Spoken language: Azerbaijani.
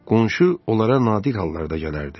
Qonşu onlara nadir hallarda gələrdi.